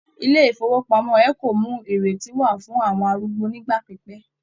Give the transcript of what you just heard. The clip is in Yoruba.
Ilé ifowopamọ Eco mú ìrètí wà fún àwọn arúgbó nigba pipẹ.